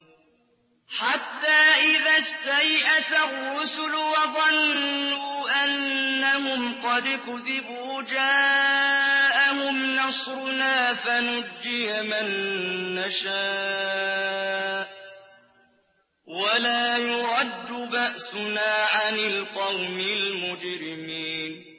حَتَّىٰ إِذَا اسْتَيْأَسَ الرُّسُلُ وَظَنُّوا أَنَّهُمْ قَدْ كُذِبُوا جَاءَهُمْ نَصْرُنَا فَنُجِّيَ مَن نَّشَاءُ ۖ وَلَا يُرَدُّ بَأْسُنَا عَنِ الْقَوْمِ الْمُجْرِمِينَ